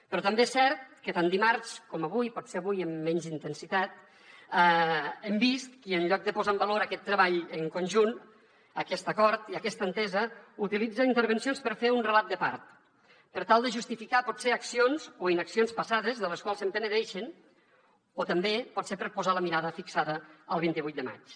però també és cert que tant dimarts com avui potser avui amb menys intensitat hem vist qui en lloc de posar en valor aquest treball en conjunt aquest acord i aquesta entesa utilitza intervencions per fer un relat de part per tal de justificar potser accions o inaccions passades de les quals es penedeixen o també potser per posar la mirada fixada al vint vuit de maig